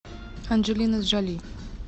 анджелина джоли